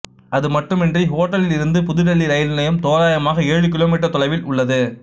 அதுமட்டுமின்றி ஹோட்டலில் இருந்து புது டெல்லி ரயில் நிலையம் தோராயமாக ஏழு கிலோ மீட்டர் தொலைவில் உள்ளது